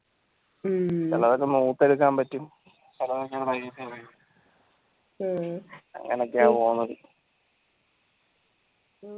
ചിലതൊക്കെ എടുക്കാൻ പറ്റും അങ്ങനെയൊക്കെ പോണത്